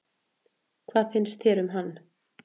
Hvað fannst þér um hann?